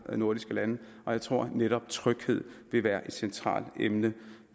nordiske lande og jeg tror at netop tryghed vil være et centralt emne